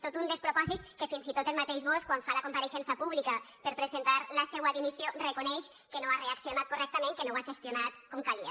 tot un despropòsit que fins i tot el mateix bosch quan fa la compareixença pública per presentar la seua dimissió reconeix que no ha reaccionat correctament que no ho ha gestionat com calia